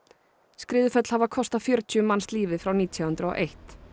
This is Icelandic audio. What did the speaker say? skriðuföll hafa kostað fjörutíu manns lífið frá nítján hundruð og eitt